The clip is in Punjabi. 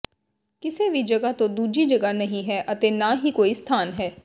ਕਿਸੇ ਵੀ ਜਗ੍ਹਾ ਤੋਂ ਦੂਜੀ ਜਗ੍ਹਾ ਨਹੀਂ ਹੈ ਅਤੇ ਨਾ ਹੀ ਕੋਈ ਸਥਾਨ ਹੈ